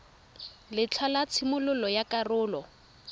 letlha la tshimololo ya karolo